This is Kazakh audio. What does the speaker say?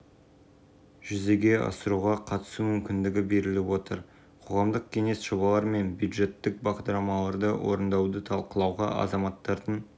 өкілдеріне мемлекеттік қызмет мемлекеттік қызмет көрсетудің сапасы мен сыбайлас жемқорлыққа қарсы іс-қимыл саласында мемлекеттік саясатты